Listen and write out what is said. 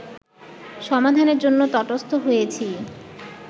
সমাধানের জন্য তটস্থ হয়েছি